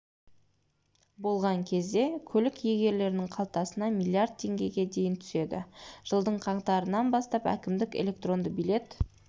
болған кезде көлік иелерінің қалтасына миллиард теңгеге дейін түседі жылдың қаңтарынан бастап әкімдік электронды билет